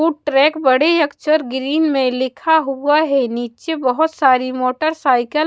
वो ट्रैक बड़े अक्षर ग्रीन में लिखा हुआ है नीचे बहुत सारी मोटरसाइकिल--